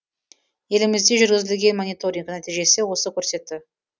елімізде жүргізілген мониторинг нәтижесі осы көрсетті